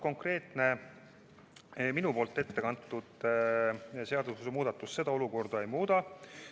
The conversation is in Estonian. Konkreetne minu ettekantud seadusemuudatus seda olukorda ei muuda.